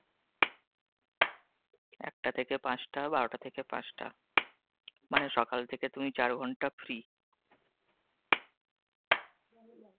একটা থেকে পাঁচটা বারোটা থেকে পাঁচটা, মানে সকাল থেকে তুমি চার ঘন্টা free